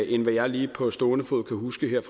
jeg lige på stående fod kan huske her